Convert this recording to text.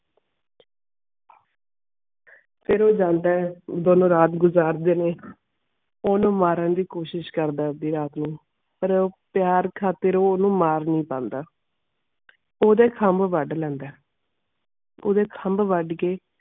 ਫਿਰ ਉਹ ਜਾਂਦਾ ਦੋਨਉ ਰਾਤ ਗੁਜ਼ਾਰ ਦੇ ਨੇ ਓਨੁ ਮਾਰਨ ਦੀ ਕੋਸ਼ਿਸ਼ ਕਰਦਾ ਅੱਧੀ ਰਾਤ ਨੂੰ ਪਾਰ ਪਿਆਰ ਖਾਤਿਰ ਉਹ ਓਨੁ ਮਾਰ ਨਾਈ ਪੈਂਦਾ ਪੂਰੇ ਖਾਮ੍ਬ ਵਾਦ ਲੈਂਦਾ ਓਦੇ ਖਾਮ੍ਬ ਵਾਦ ਕੇ.